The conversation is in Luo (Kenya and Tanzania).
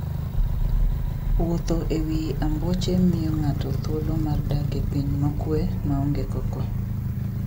Wuotho e wi ambuoche miyo ng'ato thuolo mar dak e piny mokuwe maonge koko.